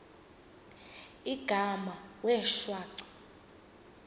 igama wee shwaca